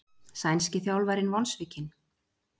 Sænski þjálfarinn vonsvikinn